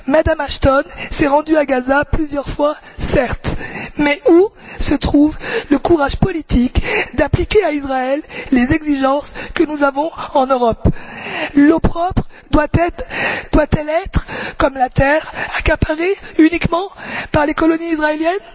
Mme Ashton s'est rendue à Gaza plusieurs fois, certes. Mais où se trouve le courage politique d'appliquer à Israël les exigences que nous avons en Europe? L'eau propre doit elle être, comme la terre, accaparée uniquement par les colonies israéliennes?